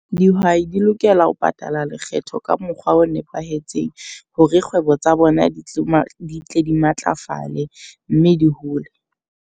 Dihwai di lokela ho patala lekgetho ka mokgwa o nepahetseng. Hore kgwebo tsa bona di ma, di tle di matlafale mme di hole.